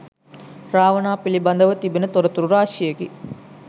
රාවණා පිළිබඳව තිබෙන තොරතුරු රාශියකි.